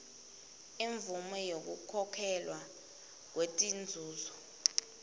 imvumo yekukhokhelwa kwetinzuzo